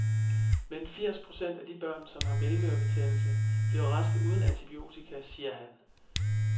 Men firs procent af de børn, som har mellemørebetændelse, bliver raske uden antibiotika, siger han.